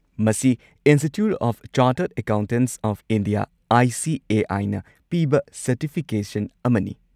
ꯃꯁꯤ institute of chartered accountants of India (I. C. A. I.) ꯅ ꯄꯤꯕ certification ꯑꯃꯅꯤ꯫